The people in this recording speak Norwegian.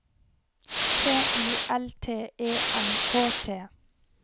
T I L T E N K T